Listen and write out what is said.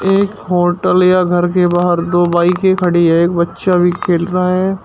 एक होटल या घर के बाहर दो बाईकें खड़ी है एक बच्चा भी खेल रहा है।